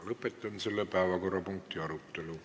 Lõpetan selle päevakorrapunkti arutelu.